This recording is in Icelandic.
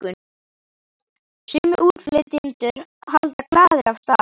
Sumir útflytjendur halda glaðir af stað.